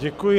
Děkuji.